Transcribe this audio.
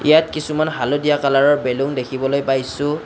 ইয়াত কিছুমান হালধীয়া কালাৰৰ বেলুন দেখিবলৈ পাইছোঁ।